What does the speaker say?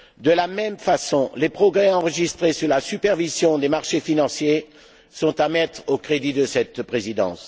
De la même façon, les progrès enregistrés sur la supervision des marchés financiers sont à mettre au crédit de cette Présidence.